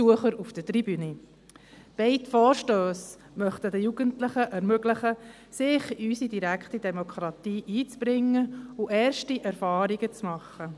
Beide Vorstösse möchten den Jugendlichen ermöglichen, sich in unsere direkte Demokratie einzubringen und erste Erfahrungen zu sammeln.